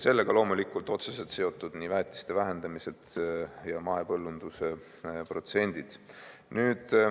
Sellega on loomulikult otseselt seotud nii väetiste vähendamised kui ka mahepõllunduse protsendid.